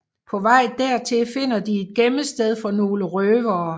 På vej dertil finder de et gemmested for nogle røvere